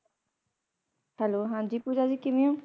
Hello ਹਾਂਜੀ ਪੂਜਾ ਜੀ ਕਿਵੇਂ ਹੋ